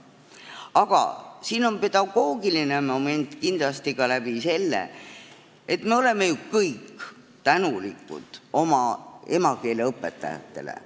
Aga siin on pedagoogiline moment kindlasti ka seetõttu, et me oleme ju kõik tänulikud oma emakeeleõpetajatele.